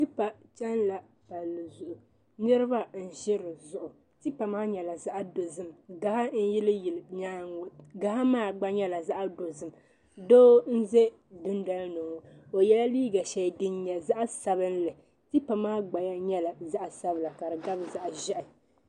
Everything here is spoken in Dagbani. Tipa chana la palli zuɣu niriba n ʒi di zuɣu tipa maa nyɛla zaɣa dozim gaɣa n yili yili nyaanga ŋɔ gaɣa maa gba nyɛla zaɣa dozim doo n za dundoli ni ŋɔ o yɛla liiga sheli din nyɛ zaɣa sabinli tipa maa gbali nyɛla zaɣa sabila ka di gabi zaɣa ʒiɛhi.